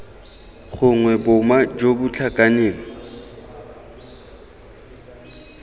gongwe boma jo bo tlhakaneng